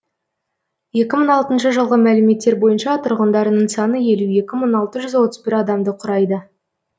екі мың алтыншы жылғы мәліметтер бойынша тұрғындарының саны елу екі мың алты жүз отыз бір адамды құрайды